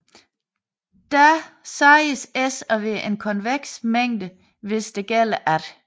Da siges S at være en konveks mængde hvis der gælder at